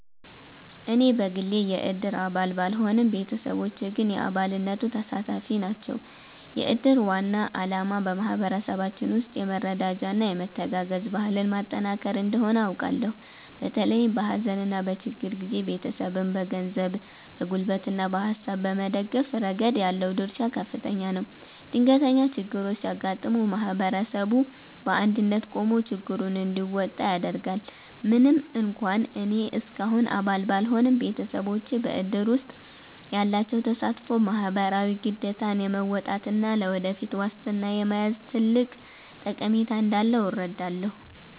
እኔ በግሌ የእድር አባል ባልሆንም፣ ቤተሰቦቼ ግን የአባልነቱ ተሳታፊ ናቸው። የእድር ዋና ዓላማ በማኅበረሰባችን ውስጥ የመረዳጃና የመተጋገዝ ባህልን ማጠናከር እንደሆነ አውቃለሁ። በተለይም በሐዘንና በችግር ጊዜ ቤተሰብን በገንዘብ፣ በጉልበትና በሐሳብ በመደገፍ ረገድ ያለው ድርሻ ከፍተኛ ነው። ድንገተኛ ችግሮች ሲያጋጥሙ ማኅበረሰቡ በአንድነት ቆሞ ችግሩን እንዲወጣ ያደርጋል። ምንም እንኳን እኔ እስካሁን አባል ባልሆንም፣ ቤተሰቦቼ በእድር ውስጥ ያላቸው ተሳትፎ ማኅበራዊ ግዴታን የመወጣትና ለወደፊት ዋስትና የመያዝ ትልቅ ጠቀሜታ እንዳለው እረዳለሁ።